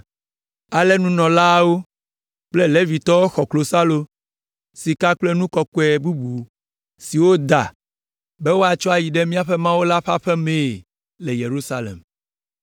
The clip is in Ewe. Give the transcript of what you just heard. Ale nunɔlaawo kple Levitɔwo xɔ klosalo, sika kple nu kɔkɔe bubu siwo woda be woatsɔ ayi ɖe míaƒe Mawu ƒe aƒe la mee le Yerusalem.